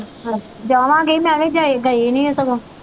ਹਾਂ ਜਾਵਾਂਗੀ ਮੈਂ ਵੀ ਗਈ ਗਈ ਨੀ ਸਗੋਂ।